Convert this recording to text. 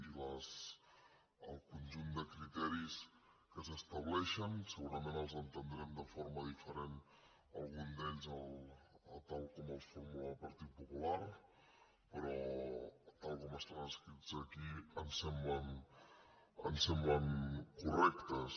i el conjunt de criteris que s’estableixen segurament els entendrem de forma di·ferent alguns d’ells a tal com els formula el partit po·pular però tal com estan escrits aquí ens semblen cor·rectes